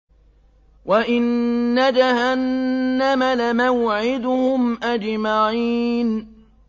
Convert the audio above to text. وَإِنَّ جَهَنَّمَ لَمَوْعِدُهُمْ أَجْمَعِينَ